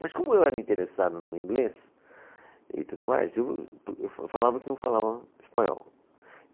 Mas como eu era interessado no inglês e tudo mais, eu, eu falava que não falava espanhol.